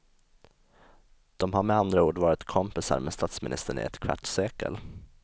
De har med andra ord varit kompisar med statsministern i ett kvarts sekel.